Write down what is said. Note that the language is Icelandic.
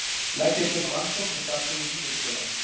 Leggja til rannsókn á starfsemi lífeyrissjóða